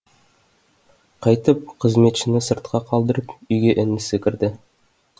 қайтіп қызметшіні сыртқа қалдырып үйге інісі кірді